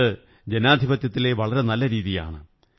ഇത് ജനാധിപത്യത്തിലെ വളരെ നല്ല രീതിയാണ്